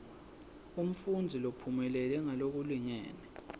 umfundzi lophumelele ngalokulingene